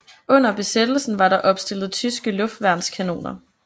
Under besættelsen var der opstillet tyske luftværnskanoner